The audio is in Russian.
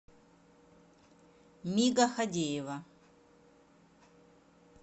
мига хадеева